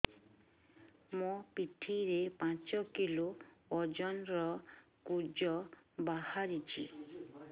ମୋ ପିଠି ରେ ପାଞ୍ଚ କିଲୋ ଓଜନ ର କୁଜ ବାହାରିଛି